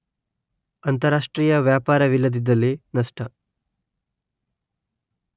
ಅಂತಾರಾಷ್ಟ್ರೀಯ ವ್ಯಾಪಾರವಿಲ್ಲದಿದ್ದಲ್ಲಿ ನಷ್ಟ